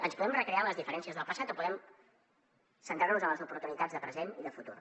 ens podem recrear en les diferències del passat o podem centrar nos en les oportunitats de present i de futur